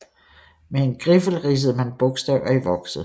Med en griffel ridsede man bogstaver i vokset